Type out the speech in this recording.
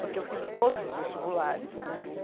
Porque eu fiz o todos os vestibulares, né?